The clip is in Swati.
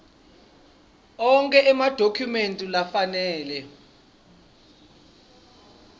onkhe emadokhumenti lafanele